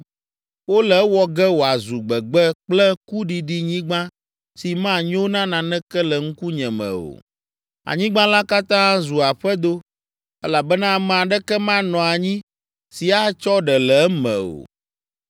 Wole ewɔ ge wòazu gbegbe kple kuɖiɖinyigba si manyo na naneke le ŋkunye me o. Anyigba la katã azu aƒedo elabena ame aɖeke manɔ anyi si atsɔ ɖe le eme o.